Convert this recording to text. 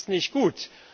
Das ist nicht gut.